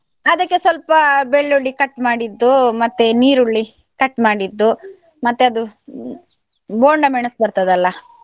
ಅದಕ್ಕೆ ಸ್ವಲ್ಪ ಬೆಳ್ಳುಳ್ಳಿ cut ಮಾಡಿದ್ದು, ಮತ್ತೆ ನೀರುಳ್ಳಿ cut ಮಾಡಿದ್ದು, ಮತ್ತೆ ಅದು ಬೋಂಡ ಮೆಣಸು ಬರ್ತದಲ್ಲ?